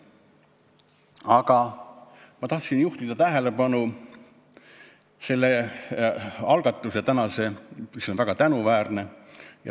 Aga ma tahtsin juhtida tähelepanu sellele algatusele, mis on väga tänuväärne.